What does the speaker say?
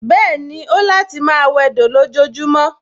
Bẹ́ẹ̀ni, ó láti máa wẹdò lójojúmọ́